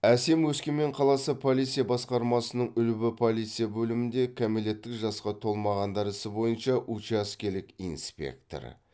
әсем өскемен қаласы полиция басқармасының үлбі полиция бөлімінде кәмелеттік жасқа толмағандар ісі бойынша учаскелік инспектор